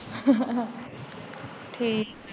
ਠੀਕ